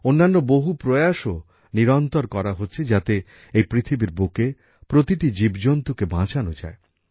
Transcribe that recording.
অন্যান্য বহু প্রয়াসও নিরন্তর করা হচ্ছে যাতে এই পৃথিবীর বুকে প্রতিটি জীবজন্তুকে বাঁচানো যায়